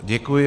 Děkuji.